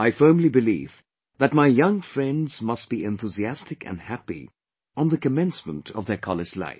I firmly believe that my young friends must be enthusiastic & happy on the commencement of their college life